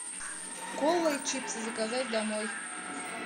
кола и чипсы заказать домой